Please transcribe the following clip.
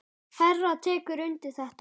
Hera tekur undir þetta.